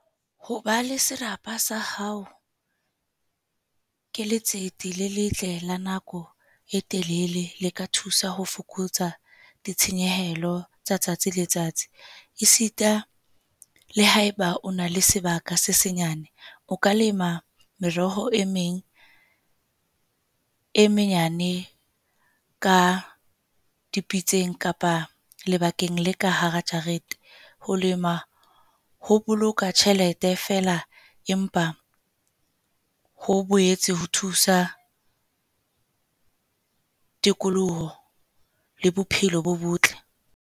Ho ba le serapa sa hao ke letsete le letle le nako e telele le ka thusa ho fokotsa ditshenyehelo tsa tsatsi le tsatsi. E sita le haeba o na le sebaka se senyane, o ka lema meroho e meng e menyane ka dipitseng kapa lebakeng le ka hara jarete. Ho lema ho boloka tjhelete feela. Empa ho boetse ho thusa tikoloho le bophelo bo botle.